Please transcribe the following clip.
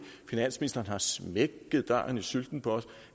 finansministeren har smækket døren i sylten på